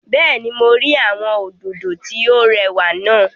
Bẹ́ẹ̀ni, mo rí àwọn òdòdó tí ó rẹwà náà